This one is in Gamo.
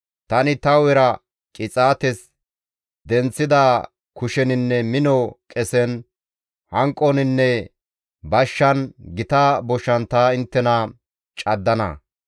Tani ta hu7era qixaates denththida kusheninne mino qesen, hanqoninne bashshan, gita boshan ta inttena caddana.